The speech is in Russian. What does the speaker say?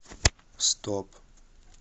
стоп